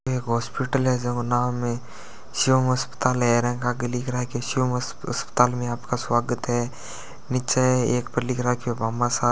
एक हॉस्पिटल है जेगो नाम है शिवम् अस्पताल ऐरंग आगे लिख रा के शिवम् अस्पताल में आपका स्वागत है नीचे एक पर लिख रखयो भामाशा--